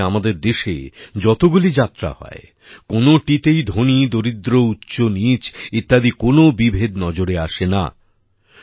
অনুরূপভাবে আমাদের দেশে যতগুলি যাত্রা হয় কোনোটিতেই ধনীদরিদ্র উচ্চনীচ ইত্যাদি কোন বিভেদ নজরে আসে না